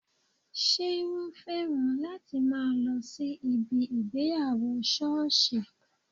Ṣé wọn féràn láti máa lọ sí ibi ìgbéyàwó sọ́ọ̀sì?